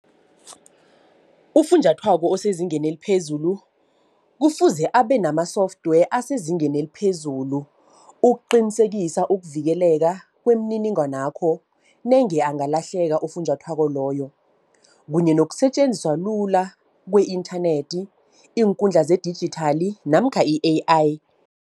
Ufunjathwako osezingeni eliphezulu kufuze abe nama-software asezingeni eliphezulu. Ukuqinisekisa ukuvikeleka kwemininingwanakho nenge angalahleka ufunjathwako loyo kunye nokusetjenziswa lula kwe-inthanethi, iinkundla zedijithali namkha i-A_I.